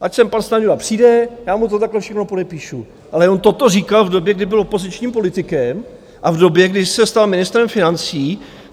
Ať jsem pan Stanjura přijde, já mu to takhle všechno podepíšu, ale on toto říkal v době, kdy byl opozičním politikem, a v době, kdy se stal ministrem financí.